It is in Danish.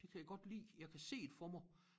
Det kan jeg godt lide jeg kan se det for mig